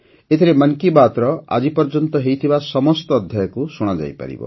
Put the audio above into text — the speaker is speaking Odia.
ଏଠାରେ ମନ୍ କି ବାତ୍ର ଆଜିପର୍ଯ୍ୟନ୍ତ ହୋଇଥିବା ସମସ୍ତ ଅଧ୍ୟାୟକୁ ଶୁଣାଯାଇପାରିବ